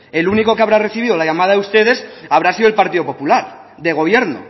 el único que habrá recibido la llamada de ustedes habrá sido el partido popular de gobierno